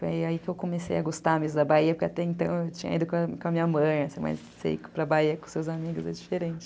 Foi aí que eu comecei a gostar mais da Bahia, porque até então eu tinha ido com a minha mãe, mas você ir para a Bahia com seus amigos é diferente.